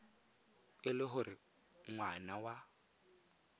e le gore ngwana wa